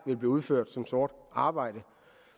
vil blive udført som sort arbejde